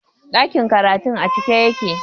Ɗakin karatun a cike yake